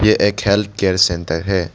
ये एक health care centre है।